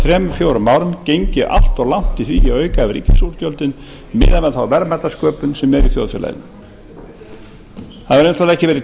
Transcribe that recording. þremur fjórum árum gengið allt of langt í að auka við ríkisútgjöldin miðað við þá verðmætasköpun sem er í þjóðfélaginu það hefur einfaldlega ekki verið